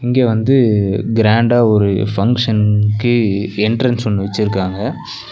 இங்க வந்து கிராண்டா ஒரு ஃபங்ஷனுக்கு என்ட்ரன்ஸ் ஒன்னு வெச்சிருக்காங்க.